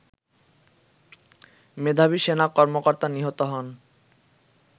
মেধাবী সেনা কর্মকর্তা নিহত হন